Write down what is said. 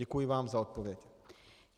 Děkuji vám za odpověď.